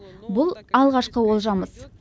бұл алғашқы олжамыз